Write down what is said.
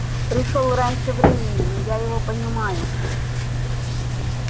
пришёл раньше времени но я его понимаю